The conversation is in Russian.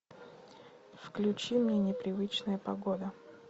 включи мне непривычная погода